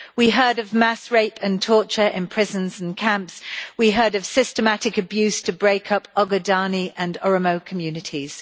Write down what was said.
We heard of mass rape and torture in prisons and camps, we heard of systematic abuse to break up Ogaden and Oromo communities.